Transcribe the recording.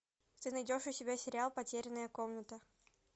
ты найдешь у себя сериал потерянная комната